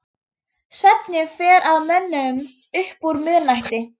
Svefninn fer að mönnum upp úr miðnætti.